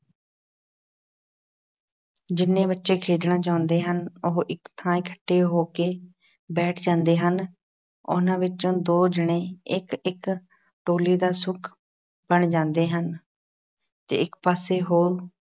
ਜਿੰਨੇ ਬੱਚੇ ਖੇਡਣਾ ਚਾਹੁੰਦੇ ਹਨ, ਉਹ ਇੱਕ ਥਾਂ ਇਕੱਠੇ ਹੋ ਕੇ ਬੈਠ ਜਾਂਦੇ ਹਨ। ਉਹਨਾਂ ਵਿੱਚੋਂ ਦੋ ਜਣੇ ਇੱਕ- ਇੱਕ ਟੋਲੀ ਦਾ ਸੁੱਖ ਬਣ ਜਾਂਦੇ ਹਨ ਅਤੇ ਇੱਕ ਪਾਸੇ ਹੋ